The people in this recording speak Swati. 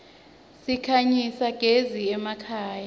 sikhanyisa gez iemakhaya